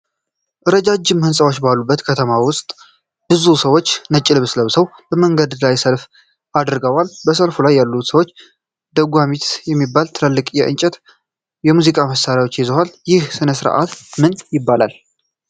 ረጃጅም ሕንፃዎች ባሉበት ከተማ ውስጥ ብዙ ሰዎች ነጭ ልብስ ለብሰው በመንገድ ላይ ሰልፍ አድርገዋል። በሰልፉ ላይ ያሉት ሰዎች ደጓሚት የሚባሉ ትላልቅ የእንጨት የሙዚቃ መሣሪያዎችን ይዘዋል። ይህ ሥነ-ሥርዓት ምን ይባላል?